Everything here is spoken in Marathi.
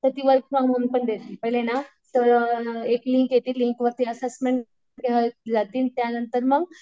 तर ती वर्क फ्रॉम होम पण देते. पहिले ना एक लिंक येते लिंकवरती असेसमेंट दिली जातील त्यानंतर मग